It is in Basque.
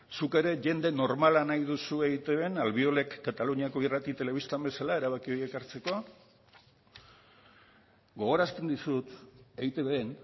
zuk ere jende normala nahi duzu eitbn albiolek kataluniako irrati telebistan bezala erabaki horiek hartzeko gogorazten dizut eitbn